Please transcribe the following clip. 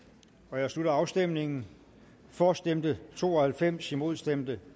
nu jeg slutter afstemningen for stemte to og halvfems imod stemte